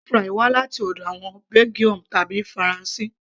french fries wá láti ọ̀dọ̀ àwọn Belgium tàbí faransé